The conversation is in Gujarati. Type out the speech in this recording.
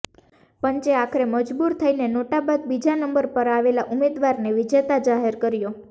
પંચે આખરે મજૂબર થઇને નોટા બાદ બીજા નંબર પર આવેલા ઉમેદવારને વિજેતા જાહેર કર્યો